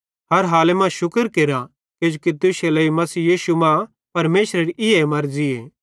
हर हाले मां शुक्र केरा किजोकि तुश्शे लेइ मसीह यीशु मां परमेशरेरी ईए मर्ज़ीए